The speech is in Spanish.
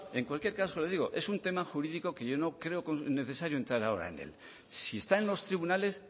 en cualquier caso digo es un tema jurídico que yo no creo necesario entrar ahora en él si está en los tribunales